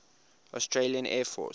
australian air force